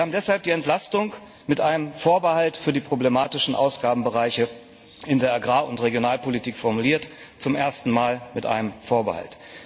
Wir haben deshalb die Entlastung mit einem Vorbehalt für die problematischen Ausgabenbereiche in der Agrar und Regionalpolitik formuliert zum ersten Mal mit einem Vorbehalt.